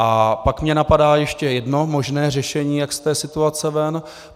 A pak mě napadá ještě jedno možné řešení, jak z té situace ven.